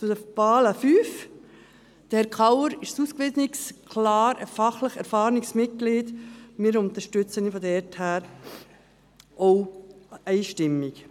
Zur fünften Wahl: Herr Kauer ist ein ausgewiesenes, klar fachlich erfahrenes Mitglied, und wir unterstützen ihn daher auch einstimmig.